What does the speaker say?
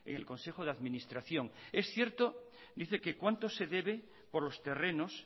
el consejo de administración es cierto dice que cuánto se debe por los terrenos